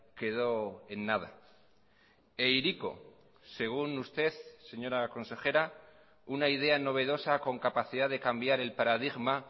quedó en nada e hiriko según usted señora consejera una idea novedosa con capacidad de cambiar el paradigma